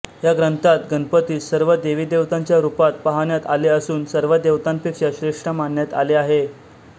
या ग्रंथात गणपतीस सर्व देवीदेवतांच्या रूपात पाहण्यात आले असून सर्व देवतांपेक्षा श्रेष्ठ मानण्यात आले आहे